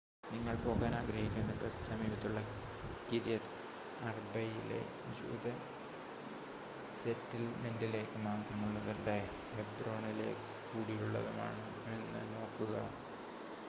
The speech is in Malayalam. നിങ്ങൾ പോകാൻ ആഗ്രഹിക്കുന്ന ബസ് സമീപത്തുള്ള കിര്യത് അർബയിലെ ജൂത സെറ്റിൽമെൻ്റിലേക്ക് മാത്രമുള്ളതല്ല ഹെബ്രോണിലേക്ക് കൂടിയുള്ളതാണോയെന്ന് നോക്കുക